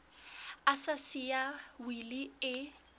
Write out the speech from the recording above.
a sa siya wili e